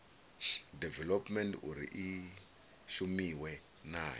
development uri i shumiwe nayo